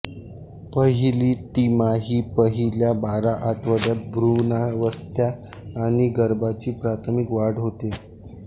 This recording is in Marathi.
पहिली तिमाही पहिल्या बारा आठवड्यात भ्रूणावस्था आणि गर्भाची प्राथमिक वाढ होते